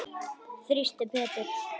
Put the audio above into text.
Þyrsti Pétur.